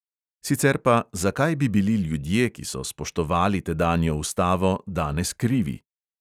Sicer pa, zakaj bi bili ljudje, ki so spoštovali tedanjo ustavo, danes krivi.